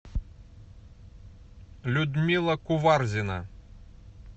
людмила куварзина